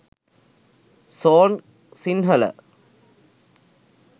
song sinhala